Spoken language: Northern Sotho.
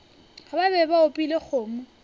ba be ba opile kgomo